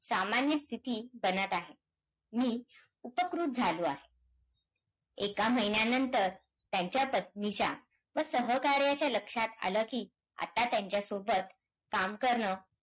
त्यांनी जर अन्नधान्य पिकवला नसता तर आपल्याला जेवण कुठून मिळाला असतं अन्नधान्य कुठून भेटला असता. आपल्याला म्हणून शेतकरी